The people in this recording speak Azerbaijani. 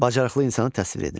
Bacarıqlı insanı təsvir edin.